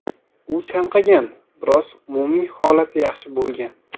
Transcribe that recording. U chanqagan, biroq umumiy holati yaxshi bo‘lgan.